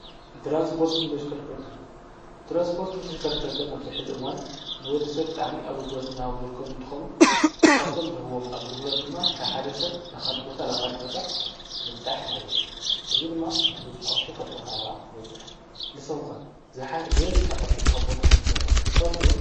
ትራንስጶርት እንተሽከርከርተ ናብዝሕዝእዋን ንወዲ ሰብ ጥዕሚ ኣጕልጕሎት ንዳሃውዘርከቡ እንተኾኑ ካብቶም ዝህቦም ኣግድክሎት ድማ ካብ ሓደ ሰብ ላኻሊ ቦታ ላኻሊ ቦታ ምብጻይሕ ማለት እዩ እዝ ድማ ብዙኅ ቕርሺ ኸፊል ካያኻ ተበጽሕ ንሰምከ ዝለ ዝሓ ቕርሺ ዝኸፉል ኹምልኹነታት ትሳው ስሎ።